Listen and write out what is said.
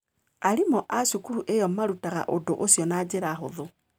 Arimũ a cukuru ĩyo maarutaga ũndũ ũcio na njĩra hũthũ.